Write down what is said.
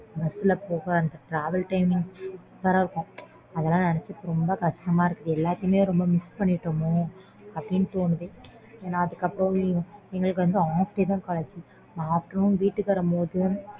bus ல போக travel timing இருக்கும் அதெல்லாம் நெனச்சி ரொம்ப கஷ்டமா இருக்கும் எல்லாத்தையுமே ரொம்ப miss பண்ணிட்டோமோ அப்பிடின்னு தோணுது ஏன்னா அதுக்கு அப்புறம் எங்களுக்கு வந்து half day தான் college